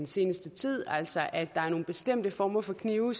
seneste tid altså at der er nogle bestemte former for knive